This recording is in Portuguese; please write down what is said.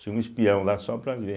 Tinha um espião lá só para ver.